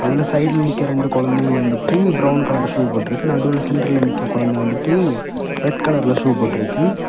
அதுல சைடுல நிக்கிற ரெண்டு குழந்தெங்க வந்துட்டு பிரவுன் கலர் ஷூ போட்டு இருக்க நடுவுல சென்டர்ல நிக்கிற குழந்தெ வந்துட்டு ரெட் கலர்ல போட்டு இருக்கு.